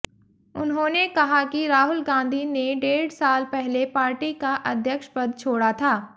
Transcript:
उन्होंने कहा कि राहुल गांधी ने डेढ़ साल पहले पार्टी का अध्यक्ष पद छोड़ा था